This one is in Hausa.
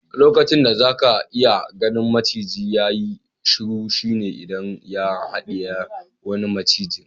Lokacin da zaka iya gan maciji ya yi shuru shine idan ya hadiye wani maciji.